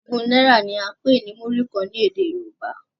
Ògún náírà ni a n pè ní muri kàn ní èdè yorúbá